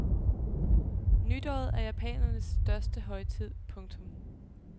Nytåret er japanernes største højtid. punktum